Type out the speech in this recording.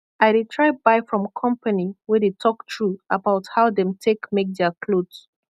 i dey try buy from kompany wey dey tok tru abaut how dem take make dia kloth